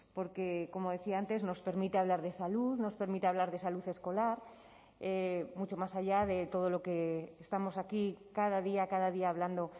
porque como decía antes nos permite hablar de salud nos permite hablar de salud escolar mucho más allá de todo lo que estamos aquí cada día cada día hablando